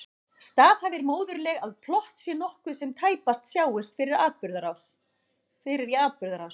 Staðhæfir móðurleg að plott sé nokkuð sem tæpast sjáist fyrir í atburðarás.